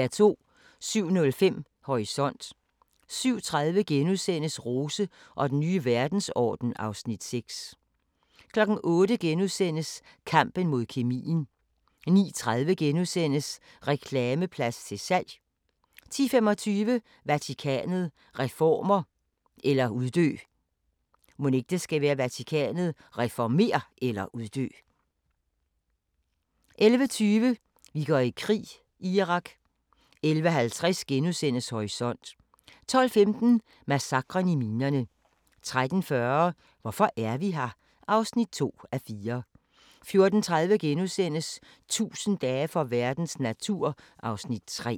07:05: Horisont 07:30: Rose og den nye verdensorden (Afs. 6)* 08:00: Kampen mod kemien * 09:30: Reklameplads til salg! * 10:25: Vatikanet – reformer eller uddø! 11:20: Vi går i krig: Irak 11:50: Horisont * 12:15: Massakren i minerne 13:40: Hvorfor er vi her? (2:4) 14:30: 1000 dage for verdens natur (Afs. 3)*